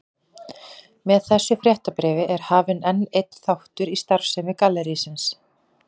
Með þessu fréttabréfi er hafinn enn einn þáttur í starfsemi gallerísins.